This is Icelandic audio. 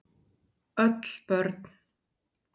Öll börn